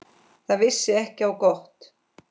Það vissi ekki á gott.